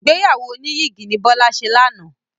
Ìgbéyàwó oníyìgì ni Bọ́sẹ̀ ṣe lánàá.